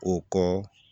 O kɔ